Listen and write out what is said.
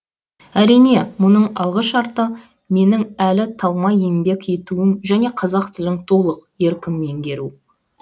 әрине мұның алғы шарты менің әлі талмай еңбек етуім және қазақ тілін толық еркін меңгеру